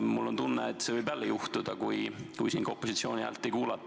Mul on tunne, et see võib jälle juhtuda, kui opositsiooni häält ei kuulata.